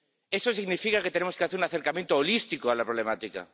Eso significa que tenemos que hacer un acercamiento holístico a la problemática.